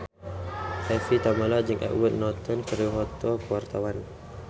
Evie Tamala jeung Edward Norton keur dipoto ku wartawan